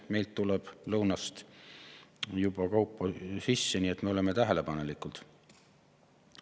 Meile tuleb lõunast kaupa sisse, nii et me oleme tähelepanelikud.